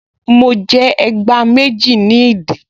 Mo jẹ ẹgbá méjì ní ìdí